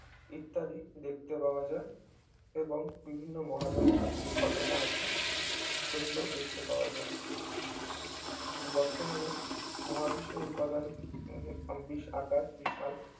ইত্যাদি দেখতে পাওয়া যায় এবং বিভিন্ন মহাজাগতিক ঘটনা আছে সেগুলো দেখতে পাওয়া যায় বর্তমানে মহাবিশ্বের উপাদান এবং বি আকার বিশাল